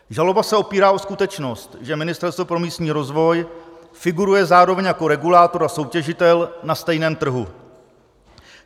Žaloba se opírá o skutečnost, že Ministerstvo pro místní rozvoj figuruje zároveň jako regulátor a soutěžitel na stejném trhu.